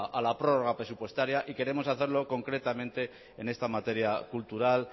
a la prórroga presupuestaria y queremos hacerlo concretamente en esta materia cultural